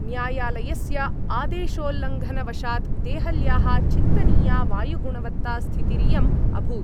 न्यायालयस्य आदेशोल्लङ्घनवशात् देहल्याः चिन्तनीया वायुगुणवत्तास्थितिरियं अभूत्।